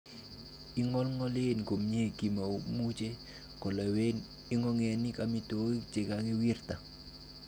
Ingingolngol komie, komoimuche kolewen ingogenik amitwogik che kakiwirta.